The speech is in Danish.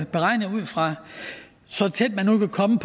beregnet ud fra så tæt man nu kan komme